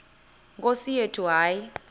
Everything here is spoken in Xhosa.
nkosi yethu hayi